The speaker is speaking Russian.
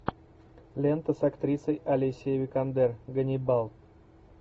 лента с актрисой алисией викандер ганнибал